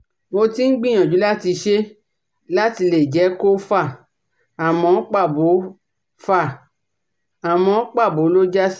Mo ti ń gbìyàjú láti ṣe láti lè jẹ́ kó fà àmọ́ pàbó fà àmọ́ pàbó ló já sí